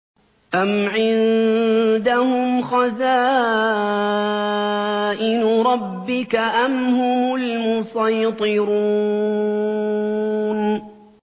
أَمْ عِندَهُمْ خَزَائِنُ رَبِّكَ أَمْ هُمُ الْمُصَيْطِرُونَ